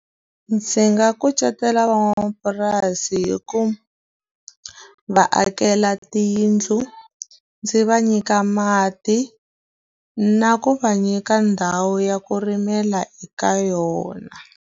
Ndzi nga kucetela van'wamapurasi hi k uva va akela tiyindlu, ndzi va nyika mati, na ku va nyika ndhawu ya ku rimela eka yona.